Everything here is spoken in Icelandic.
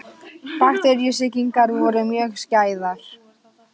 Bakteríusýkingar voru mjög skæðar.